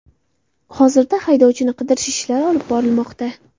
Hozirda haydovchini qidirish ishlari olib borilmoqda.